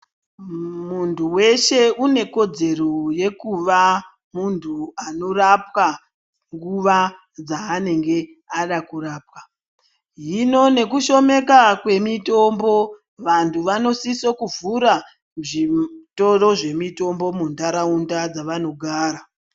Muntu weshe une kodzero yekuva muntu anorapwa nguwa dzanenge ada kurapwa hino nekushomeka kwemitombo vantu vanosisa kuvhura zvitoro zvemitombo mundaraunda mavanogara.